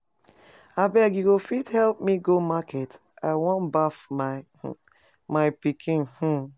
Abeg, you go fit help me go market? I wan baff my um pikin um